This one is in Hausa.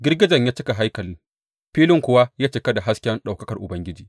Girgijen ya cika haikali, filin kuwa ya cika da hasken ɗaukakar Ubangiji.